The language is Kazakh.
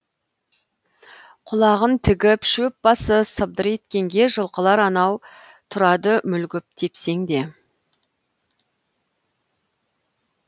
құлағын тігіп шөп басы сыбдыр еткенге жылқылар анау тұрады мүлгіп тепсеңде